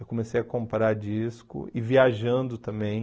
Eu comecei a comprar disco e viajando também.